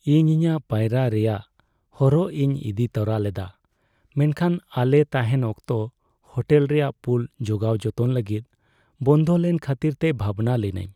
ᱤᱧ ᱤᱧᱟᱹᱜ ᱯᱟᱭᱨᱟᱜ ᱨᱮᱟᱭᱜ ᱦᱚᱨᱚᱜ ᱤᱧ ᱤᱫᱤ ᱛᱚᱨᱟ ᱞᱮᱫᱟ ᱢᱮᱱᱠᱷᱟᱱ ᱟᱞᱮ ᱛᱟᱦᱮᱱ ᱚᱠᱛᱚ ᱦᱳᱴᱮᱞ ᱨᱮᱭᱟᱜ ᱯᱩᱞ ᱡᱚᱜᱟᱣ ᱡᱚᱛᱚᱱ ᱞᱟᱹᱜᱤᱫ ᱵᱚᱱᱫᱚ ᱞᱮᱱ ᱠᱷᱟᱹᱛᱤᱨᱛᱮ ᱵᱷᱟᱵᱽᱱᱟ ᱞᱤᱱᱟᱹᱧ ᱾